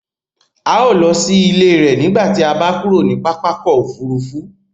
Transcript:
Ào lọ sí ilẹ̀ rẹ̀ nígbàtí à bá kúrò ni pápá ọkọ̀ òfurufú